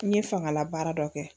N ye fangalabaara dɔ kɛ